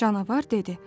Canavar dedi.